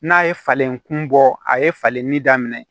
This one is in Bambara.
N'a ye falen kun bɔ a ye falenni daminɛ